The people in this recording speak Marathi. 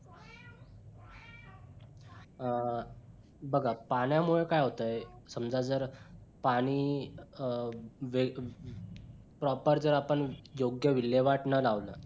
अं बघा पाण्यामुळे काय होतंय समजा जर पाणी अं वे proper जर आपण योग्य विल्हेवाट न लावता